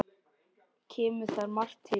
Kemur þar margt til.